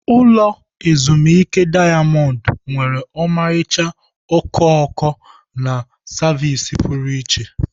Ulọ ezimuike dayamond nwere ọmarịcha okooko na savịsị pụrụ iche.